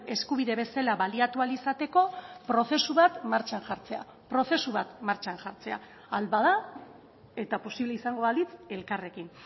eskubide bezala baliatu ahal izateko prozesu bat martxan jartzea prozesu bat martxan jartzea ahal bada eta posible izango balitz elkarrekin